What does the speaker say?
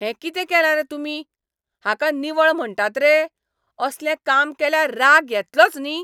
हें कितें केलां रे तुमी, हाका निवळ म्हणटात रे. असलें काम केल्यार राग येतलोच न्ही?